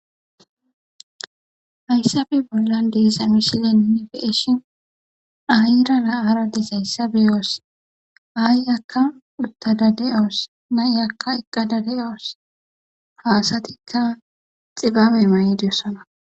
hayssabe bollan deesa mishilenne beeshin ayra la7haradis hayssa beyoos ay akka uttadade7awos nay akka eqqada de7awos haasatikka xibabe maydyossana